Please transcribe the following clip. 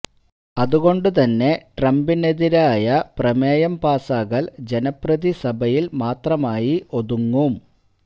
അതുകൊണ്ട് തന്നെ ട്രംപിനെതിരായ പ്രമേയം പാസാകൽ ജനപ്രതിനിധി സഭയിൽ മാത്രമായി ഒതുങ്ങും